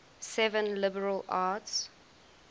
seven liberal arts